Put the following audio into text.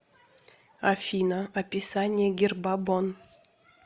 афина описание герба бонн